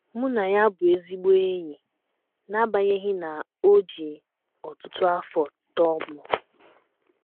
Mụ na ya bụ ezigbo enyi n’agbanyeghị na o ji ọtụtụ afọ tọọ m. ”